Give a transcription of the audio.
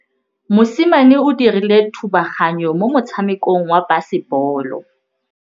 Mosimane o dirile thubaganyô mo motshamekong wa basebôlô.